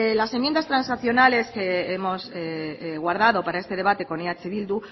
las enmiendas transaccionales que hemos guardado para este debate con eh bildu